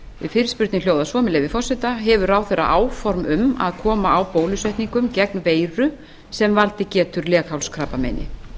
fyrirspurnin hljóðar svo með leyfi forseta hefur ráðherra áform um að koma á bólusetningum gegn veiru sem valdið getur leghálskrabbameini